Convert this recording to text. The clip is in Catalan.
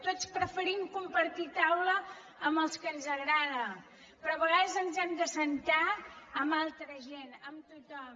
tots preferim compartir taula amb els que ens agrada però a vegades ens hem d’asseure amb altra gent amb tothom